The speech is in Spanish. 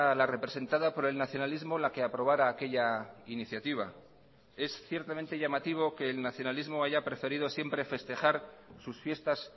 la representada por el nacionalismo la que aprobara aquella iniciativa es ciertamente llamativo que el nacionalismo haya preferido siempre festejar sus fiestas